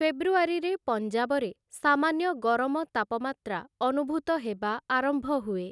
ଫେବୃଆରୀରେ ପଞ୍ଜାବରେ ସାମାନ୍ୟ ଗରମ ତାପମାତ୍ରା ଅନୁଭୂତ ହେବା ଆରମ୍ଭହୁଏ ।